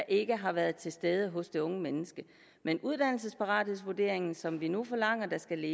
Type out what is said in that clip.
ikke har været til stede hos det unge menneske men uddannelsesparathedsvurderingen som vi nu forlanger skal